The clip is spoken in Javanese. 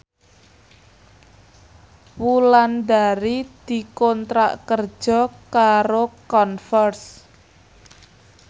Wulandari dikontrak kerja karo Converse